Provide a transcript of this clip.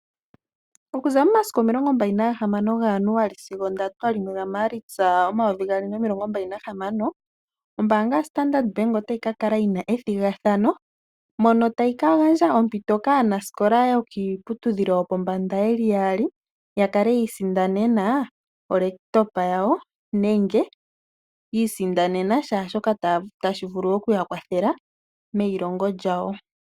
Okuza 26 ga Januali sigo 31 ga Maalitsa 2026. Ombaanga yaStandard Bank otayi ka kala yina ethigathano, mono tayi ka gandja ompiti kaanaskola yokiiputudhilo yo pombanda ye li yaali, ya kale yi isindanena oolekitopa yawo nenge, yi isindanena shaashoka tashi vulu okuya kwathela meyi longo lyawo.